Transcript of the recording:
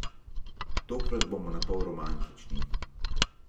Tokrat bomo napol romantični.